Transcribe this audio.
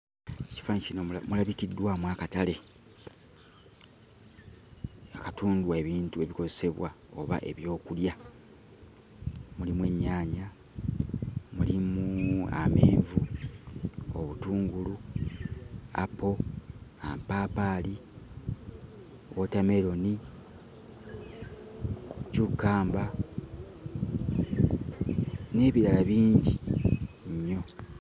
Mu kifaananyi kino mulabikiddwamu akatale akatunda ebintu ebikozesebwa oba ebyokulya; mulimu ennyaanya, mulimu amenvu, obutungulu, apo, amapaapaali, wootameroni, ccukkamba n'ebirala bingi nnyo.